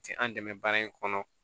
Ti an dɛmɛ baara in kɔnɔ